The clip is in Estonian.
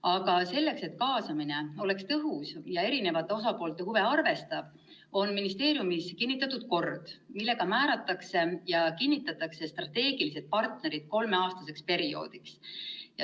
Aga selleks, et kaasamine oleks tõhus ja arvestaks eri osapoolte huve, on ministeeriumis kinnitatud kord, millega määratakse ja kinnitatakse strateegilised partnerid kolmeaastaseks perioodiks.